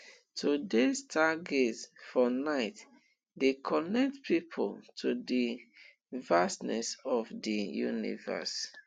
to dey star gaze for nite dey connect pipo to di vastness of di universe